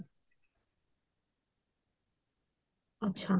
ଆଛା